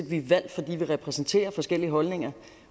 vi er valgt fordi vi repræsenterer forskellige holdninger